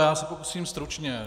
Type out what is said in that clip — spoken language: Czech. Já se pokusím stručně.